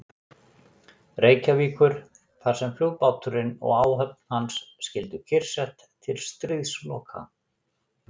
Reykjavíkur, þar sem flugbáturinn og áhöfn hans skyldu kyrrsett til stríðsloka.